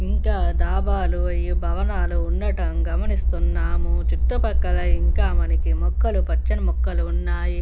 ఇంకా డాబాలో ఇంకా భవనాలు ఉండడం గమనిస్తున్నాము . చుట్టుపక్కల ఇంకా మనకి మొక్కలు పచ్చని మొక్కలు ఉన్నాయి.